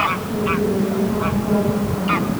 U soo ducee dhammaan kuwa buka